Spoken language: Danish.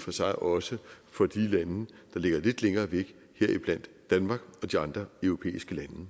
for sig også for de lande der ligger lidt længere væk heriblandt danmark og de andre europæiske lande